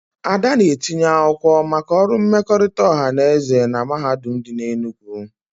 Ada na-etinye akwụkwọ maka ọrụ mmekọrịta ọha na eze na mahadum dị n'Enugwu